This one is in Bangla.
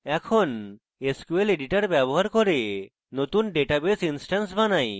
এখন sql editor ব্যবহার করে নতুন database instance বানাই